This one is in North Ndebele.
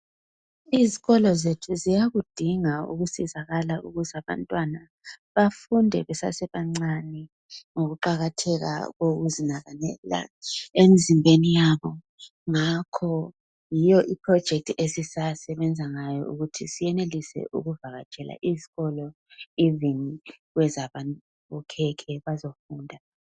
Izikolo zethu ziyakudinga ukusizakala ukuze abantwana bafunde besasebancani, ngokuqakatheka kokuzinakanela emzimbeni yabo. Ngakho yiyo ipholojekithi esisasebenza ngayo ukuthi siyenelise ukuvakatshela izikolo ivini kwezabokhekhe bazofunda.